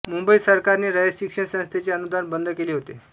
मुंबई सरकारने रयत शिक्षण संस्थेचे अनुदान बंद केले होते